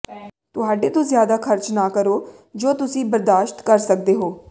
ਤੁਹਾਡੇ ਤੋਂ ਜ਼ਿਆਦਾ ਖਰਚ ਨਾ ਕਰੋ ਜੋ ਤੁਸੀਂ ਬਰਦਾਸ਼ਤ ਕਰ ਸਕਦੇ ਹੋ